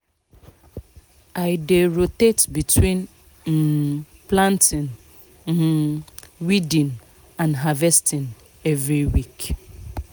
i dey rotate between um planting um weeding and harvesting every week